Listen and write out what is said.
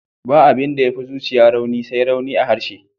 Ba abin da ya fi zuciya rauni, sai rauni a harshe.